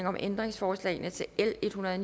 om ændringsforslagene til l en hundrede og